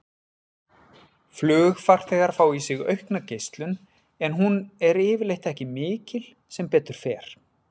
Flugfarþegar fá í sig aukna geislun en hún er yfirleitt ekki mikil, sem betur fer.